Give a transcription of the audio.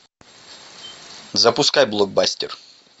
запускай блокбастер